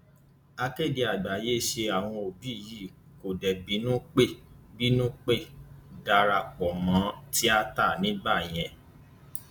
ìlérí ẹrọ ayélujára tuntun ṣùgbọn ìtànkùn ṣi ń fa kò sì ṣiṣẹ déédé